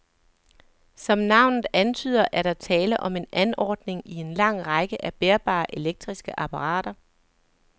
Som navnet antyder, er der tale om en anordning i en lang række af bærbare elektriske apparater.